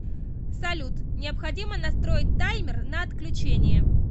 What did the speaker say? салют необходимо настроить таймер на отключение